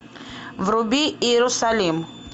вруби иерусалим